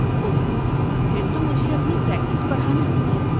اوہ، پھر تو مجھے اپنی پریکٹس بڑھانی ہوگی۔